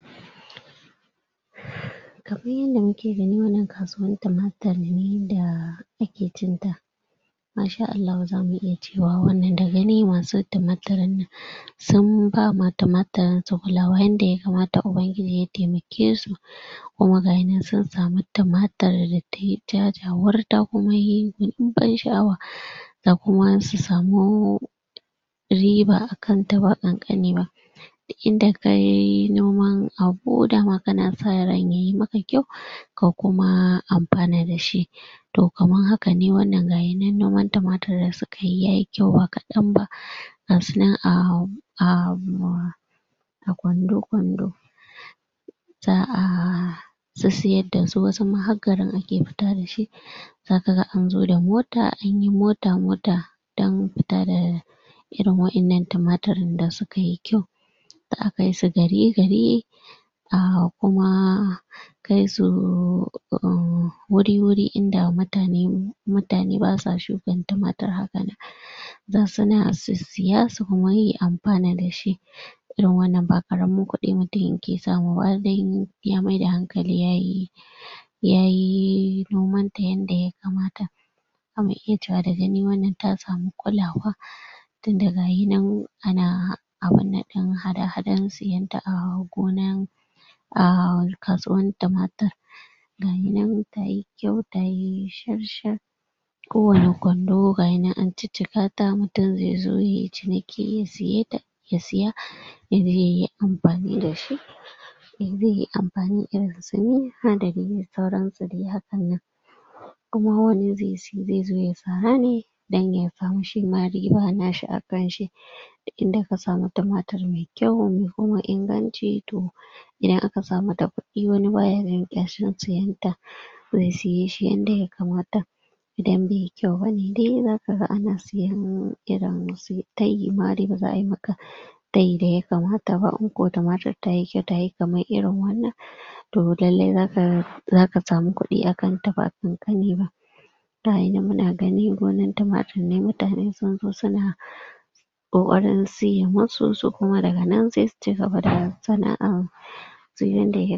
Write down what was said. Kaman yanda muke gani wannan kasuwan tumatir ne da ake cin ta. Maa shaa Allahu zamu iya yi wannan da gani mun san timatiran nan sum ba ma tuma tirin su kulawa yanda ya kamata Ubangiji ya taimake su kuma ga ya nan sun samu tumatir da mai ɗinbim sha'awa da kuma su samu riba akan ta ba ƙanƙani ba. Inda ka yi noman aho daman kana sa ran yayi maka kyau ka kuma amfana da shi. To kaman haka wannan gaya nan noma timatir kayi yayi kyau ba kaɗan ba ka su nan ahm ahm a kwando kwando za'a sissiyar da su, wasu ma har garin ake fita da su. Za ka ga na zo da mota anyi mota-mota dan fita da irin waƴannan timatirin da suka yi kyau. Za'a kai su gari-gari ah kuma kai su uh wuri-wuri inda mutane, mu mutane ba sa shukan yumatir haka nan. Za su na su sissiya kuma su amfana da shi. Irin wannan ba ƙaramin kuɗi mutum ya ke samu ba har dai in ya maida hankali yayi yayi nomanta yanda ya kamata. Za mu iya cewa da gani wannan ta samu kulawa. Tunda gaya nan ana abun nan ɗin hada-hadan siyanta a gona a kasuwan tumatir. Gaya nan tayi kyau tayi shar-shar kowane kwando gaya nan an ciccika da mutum zai zo yayi ciniki ya saye da ya siya, yaje yayi amfani da shi. In zai yi amfani d sauran su dai hakan nan. Amma wani zaice zai zo ya sara ne dan kawo shi ma riba na shi akan shi. Inda ka samu tumatir mai kyau mai kuma ingani to idan aka samu taɓaɓɓi wani ba ya jin ƙyashin siyan ta. Zai siye shi yanda ya kamata. Idan bai yi kyau bane dai za ka ga ana nemo irin su yi tayi ma dai za'a maka bai dai kamata ba. In ko tumatir tayi kyau tayi kamar irin wanna to lallai za ka, za ka samu kuɗin akan ta ba ƙanƙani ba. Ga ya nan muna gani gonar tumatir ne mutane sun zo su na ƙoƙarin siye musu kuma daga nan sai su cigaba da sana'an duk yanda ya